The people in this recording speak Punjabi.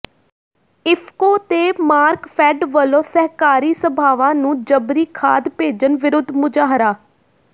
ਇਫਕੋ ਤੇ ਮਾਰਕਫੈੱਡ ਵੱਲੋਂ ਸਹਿਕਾਰੀ ਸਭਾਵਾਂ ਨੂੰ ਜਬਰੀ ਖਾਦ ਭੇਜਣ ਵਿਰੁੱਧ ਮੁਜ਼ਾਹਰਾ